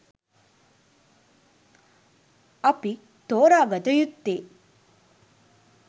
අපි තෝරාගත යුත්තේ